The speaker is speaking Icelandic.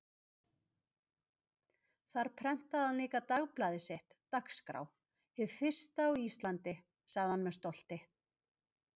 Þar prentaði hann líka dagblaðið sitt, Dagskrá, hið fyrsta á Íslandi, sagði hann með stolti.